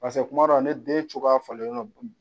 kuma dɔw ni den cogoya falen